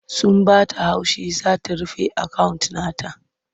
Sun ba ta haushi za ta rufe akawunt ɗin ta.